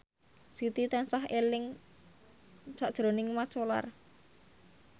Siti tansah eling sakjroning Mat Solar